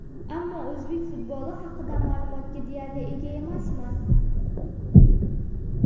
Ammo o‘zbek futboli haqida ma’lumotga deyarli ega emasman.